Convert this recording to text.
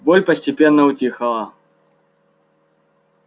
боль постепенно утихала